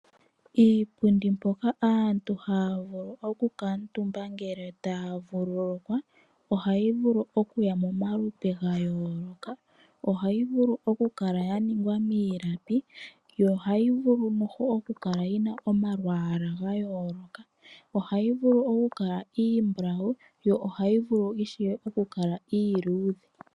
Iipundi mpoka aantu haya vulu okukutumba ngele aantu taya vululukwa ohayi vulu okuya momalupe gayooloka. Ohayi vulu okukala ya ningwa miilapi yo ohayi vulu noho okukala yina omalwaala gayooloka, ohayi vulu wo okukala iimbulawu yo ohayi vulu ishewe okukala iiludhe.